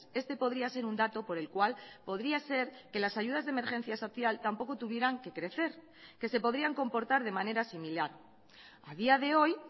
este podría ser un dato por el cual podría ser que las ayudas de emergencia social tampoco tuvieran que crecer que se podrían comportar de manera similar a día de hoy